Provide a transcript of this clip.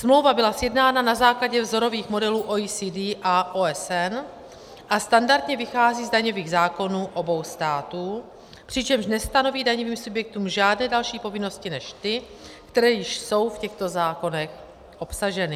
Smlouva byla sjednána na základě vzorových modelů OECD a OSN a standardně vychází z daňových zákonů obou států, přičemž nestanoví daňovým subjektům žádné další povinnosti než ty, které již jsou v těchto zákonech obsaženy.